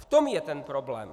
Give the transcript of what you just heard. V tom je ten problém.